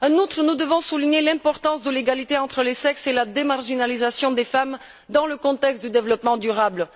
En outre, nous devons souligner l'importance de l'égalité entre les sexes et la démarginalisation des femmes dans le contexte du développement durable.